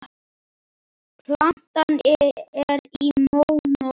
Platan er í mónó.